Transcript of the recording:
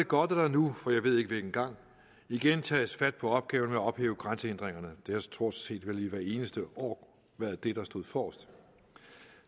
godt at der nu for jeg ved ikke hvilken gang igen tages fat på opgaven med at ophæve grænsehindringerne det har vel stort set hvert eneste år været det der stod forrest